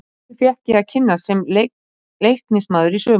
Þessu fékk ég að kynnast sem Leiknismaður í sumar.